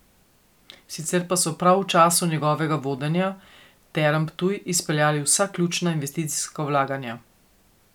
Sicer pa so prav v času njegovega vodenja Term Ptuj izpeljali vsa ključna investicijska vlaganja.